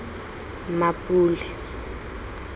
mmapule